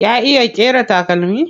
Ya iya ƙera takalmi?